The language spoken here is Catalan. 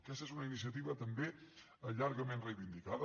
aquesta és una iniciativa també llargament reivindicada